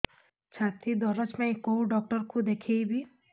ଛାତି ଦରଜ ପାଇଁ କୋଉ ଡକ୍ଟର କୁ ଦେଖେଇବି